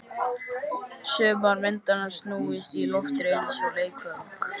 Sumar myndanna snúist í loftinu eins og leikföng.